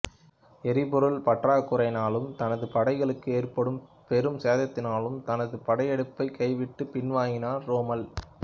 எரிபொருள் பற்றாக்குறையினாலும் தனது படைகளுக்கு ஏற்பட்ட பெரும் சேதத்தினாலும் தனது படையெடுப்பைக் கைவிட்டு பின்வாங்கினார் ரோம்மல்